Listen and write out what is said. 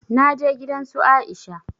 Na je gidan su Aisha